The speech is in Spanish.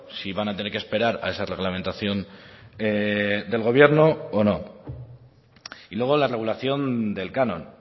si van a tener que esperar a esa reglamentación del gobierno o no y luego la regulación del canon